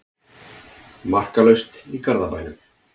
Markalaust í Garðabænum